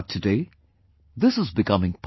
But today this is becoming possible